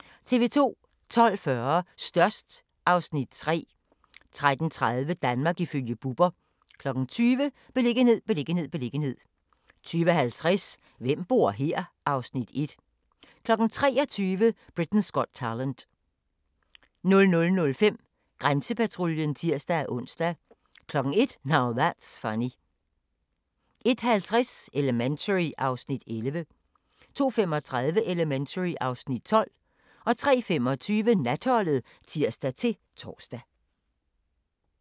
12:40: Størst (Afs. 3) 13:30: Danmark ifølge Bubber 20:00: Beliggenhed, beliggenhed, beliggenhed 20:50: Hvem bor her? (Afs. 1) 23:00: Britain's Got Talent 00:05: Grænsepatruljen (tir-ons) 01:00: Now That's Funny 01:50: Elementary (Afs. 11) 02:35: Elementary (Afs. 12) 03:25: Natholdet (tir-tor)